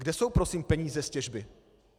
Kde jsou prosím peníze z těžby?